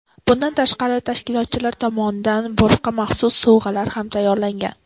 Bundan tashqari, tashkilotchilar tomonidan boshqa maxsus sovg‘alar ham tayyorlangan.